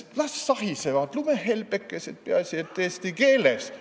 Las sahisevad lumehelbekesed, peaasi et eesti keeles!